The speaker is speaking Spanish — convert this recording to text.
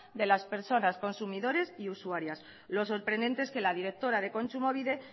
de las personas consumidores y usuarias lo sorprendente es que la directora de kontsumobide